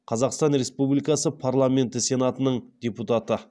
қазақстан республикасы парламенті сенатының депутаты